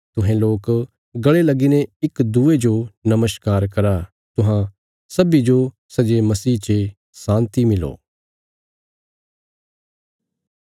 तुहें लोक गल़े लगीने इक्की दूये जो नमस्कार करा तुहां सब्बीं जो सै जे मसीह चे शान्ति मिलो